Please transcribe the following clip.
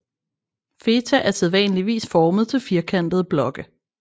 Feta er sædvanligvis formet til firkantede blokke